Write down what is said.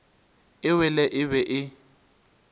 e wele e be e